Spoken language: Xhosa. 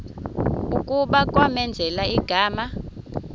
kuba kwamenzela igama